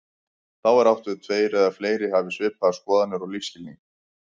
Þá er átt við tveir eða fleiri hafi svipaðar skoðanir og lífsskilning.